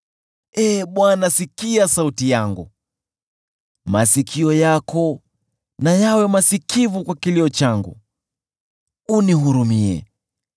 Ee Bwana , sikia sauti yangu. Masikio yako na yawe masikivu kwa kilio changu unihurumie.